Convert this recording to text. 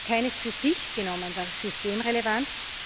Keines für sich genommen war systemrelevant